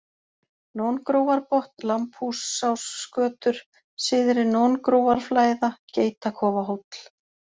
Nóngrófarbotn, Lambhúsásgötur, Syðri-Nóngrófarflæða, Geitakofahóll